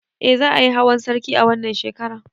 Eh za ayi hawan sarki a wannan shekaran